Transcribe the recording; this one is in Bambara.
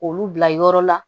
Olu bila yɔrɔ la